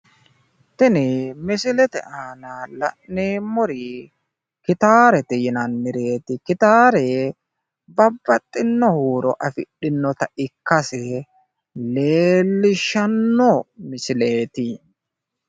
tini misilete aana la'neemmori gitaarete yinannireeti gitaare babaxxino huuro afidhinoota ikkase leellishshanno misileetti.